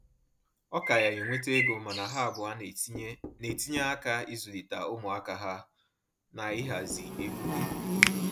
Ọ ka ya enweta ego, mana ha abụọ na-etinye na-etinye aka izulita umuaka ha na ịhazi ego